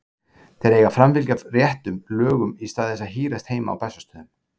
Þeir eiga að framfylgja réttum lögum í stað þess að hírast heima á Bessastöðum.